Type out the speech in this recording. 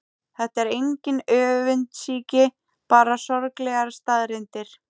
Þetta er engin öfundsýki, bara sorglegar staðreyndir.